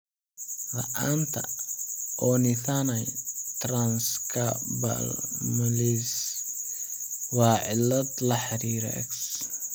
La'aanta Ornithine transcarbamylase (OTC) waa cillad la xiriirta X.